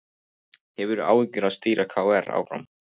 Hefur áhuga á stýra KR áfram